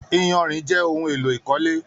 Iyanrìn jẹ ohùn èlò ìkọ́lé